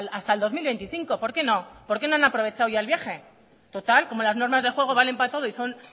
hasta el dos mil veinticinco por qué no por qué no han aprovechado ya el viaje total como las normas de juego valen para todo y son